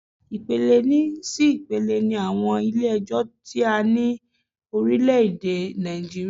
Ipele sí ipele ni àwọn Ilé ẹjọ́ ti a ní ní orílẹ̀ èdè Nàìjíríà